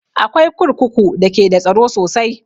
Akwai kurkuku da ke da tsaro sosai